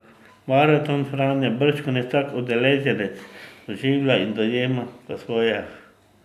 Maraton Franja bržkone vsak udeleženec doživlja in dojema po svoje.